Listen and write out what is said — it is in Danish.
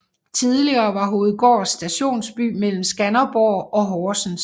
Tidligere var Hovedgård stationsby mellem Skanderborg og Horsens